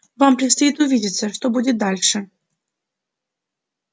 вам предстоит увидеться что будет дальше